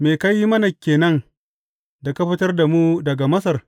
Me ka yi mana ke nan da ka fitar da mu daga Masar?